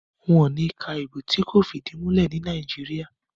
wón ni ká Ìbò tí kò fìdìmulẹ́ ní Nàìjíríà.